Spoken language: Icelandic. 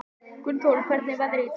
Gunnþórunn, hvernig er veðrið í dag?